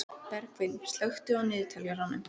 Bergvin, slökktu á niðurteljaranum.